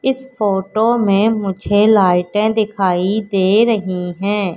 इस फोटो में मुझे लाइटें दिखाई दे रही हैं।